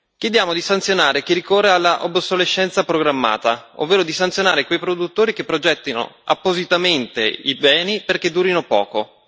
Chiediamo di sanzionare chi ricorre all'obsolescenza programmata, ovvero di sanzionare quei produttori che progettano appositamente i beni perché durino poco.